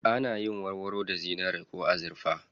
Ana yin warwaro da zinari ko azurfa.